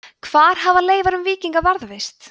hvar hafa leifar um víkinga varðveist